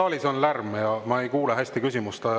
Saalis on lärm ja ma ei kuule hästi küsimust.